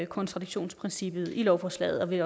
kontradiktionsprincippet i lovforslaget og vi